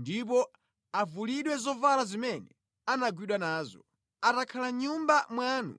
ndipo avulidwe zovala zimene anagwidwa nazo. Atakhala mʼnyumba mwanu